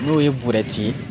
N'o ye burɛti ye